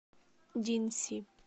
динси